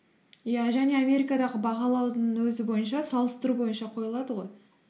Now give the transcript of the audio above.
иә және амеракадағы бағалаудың өзі бойынша салыстыру бойынша қойылады ғой